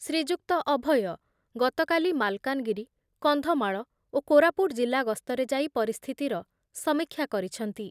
ଶ୍ରୀଯୁକ୍ତ ଅଭୟ ଗତକାଲି ମାଲକାନଗିରି, କନ୍ଧମାଳ ଓ କୋରାପୁଟ ଜିଲ୍ଲା ଗସ୍ତରେ ଯାଇ ପରିସ୍ଥିତିର ସମୀକ୍ଷା କରିଛନ୍ତି ।